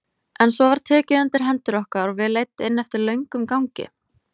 En svo var tekið undir hendur okkar og við leidd inn eftir löngum gangi.